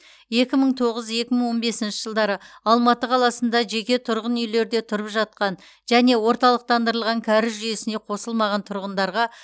екі мың тоғыз екі мың он бесінші жылдары алматы қаласында жеке тұрғын үйлерде тұрып жатқан және орталықтандырылған кәріз жүйесіне қосылмаған тұрғындарға